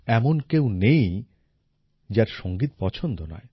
এমন কেউ নেই যার সংগীত পছন্দ নয়